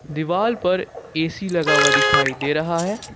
दीवाल पर ए_सी लगा हुआ दिखाई दे रहा है।